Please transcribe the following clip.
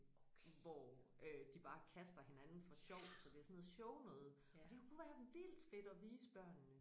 Hvor øh de bare kaster hinanden for sjov så er det sådan noget shownoget og det kunne være vildt fedt at vise børnene